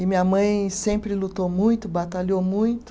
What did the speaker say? E minha mãe sempre lutou muito, batalhou muito,